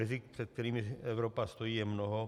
Rizik, před kterými Evropa stojí, je mnoho.